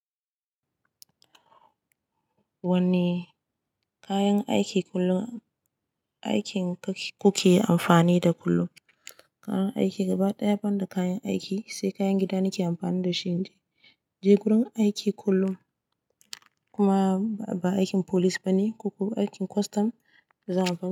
Wani kayan aiki kullum aikin ku ke amfani da kullum. Karan aiki gaba ɗaya banda kayan aiki, sai kayan gida na ke amfani da shi. Je gurin aiki kullum kuma ba aikin police ba ne, koko aikin custom da za aban.